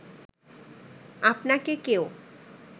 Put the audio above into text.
আপনাকে কেউ